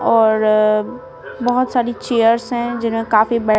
और बहुत सारी चेयर्स हैं जिनमें काफी--